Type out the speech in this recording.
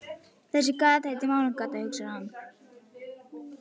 Þessi gata heitir Mánagata, hugsar hann.